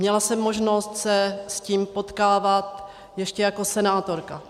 Měla jsem možnost se s tím potkávat ještě jako senátorka.